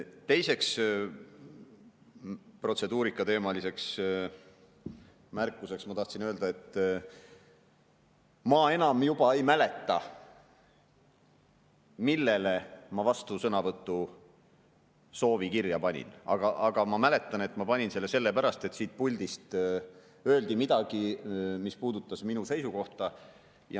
Teise protseduurikateemalise märkusena tahtsin öelda, et ma enam ei mäleta, mille peale ma vastusõnavõtu soovi kirja panin, aga ma mäletan, et ma panin selle kirja sellepärast, et siit puldist öeldi midagi, mis puudutas minu seisukohta.